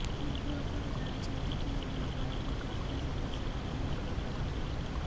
କିନ୍ତୁ ଆପଣ ଜାଣିଛନ୍ତି କି ଏହା ଆପଣଙ୍କ ସ୍ୱାସ୍ଥ୍ୟ ସମସ୍ୟା ମଧ୍ୟ ଦୂର କରିଥାଏ